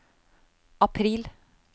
april